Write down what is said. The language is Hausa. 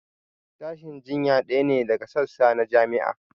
Sashin jinya ɗaya ne daga sassa na jami'a